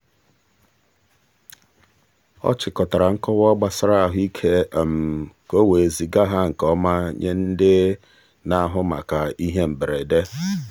ọ chịkọtara nkọwa gbasara ahụike ka o wee ziga ha nke ọma nye ndị na-ahụ maka ihe mberede.